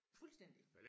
fuldstændig